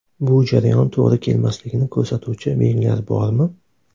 Bu jarayon to‘g‘ri kelmasligini ko‘rsatuvchi belgilar bormi?